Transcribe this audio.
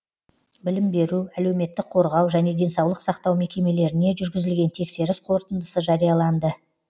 білім беру әлеуметтік қорғау және денсаулық сақтау мекемелеріне жүргізілген тексеріс қорытындысы жарияланды